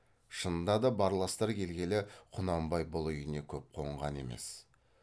шынында да барластар келгелі құнанбай бұл үйіне көп қонған емес